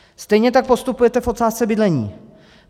Stejně tak postupujete v otázce bydlení.